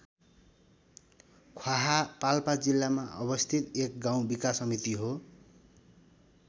ख्याहा पाल्पा जिल्लामा अवस्थित एक गाउँ विकास समिति हो।